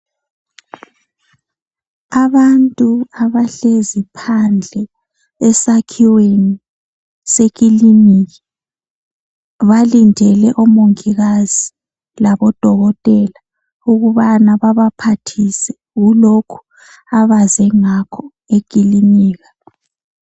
Abantu abahlezi phandle esakhiweni sekiliniki balindele omongikazi labodokotela ukubana babaphathise kulokho abaze ngakho ekilinika